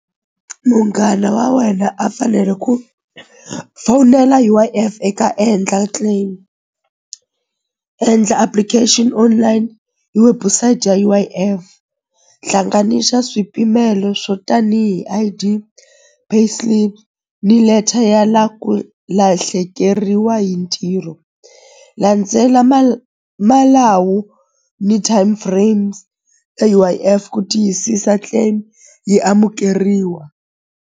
Munghana wa wena a fanele ku fowunela U_I_F eka endla claim endla application online hi website ya U_I_F hlanganisa swipimelo swo tanihi I_D pay slip ni letter ya la ku lahlekeriwa hi ntirho landzela malawu ni time frames e U_I_F ku tiyisisa claim yi amukeriwa.